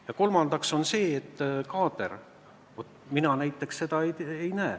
Ja kolmas vajadus on kaader, mida me ka ei näe.